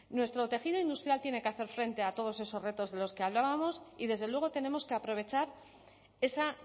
nuestro tejido industrial tiene que hacer frente a todos esos retos de los que hablábamos y desde luego tenemos que aprovechar esa